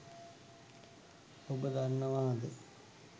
ඔබ දන්නවාද?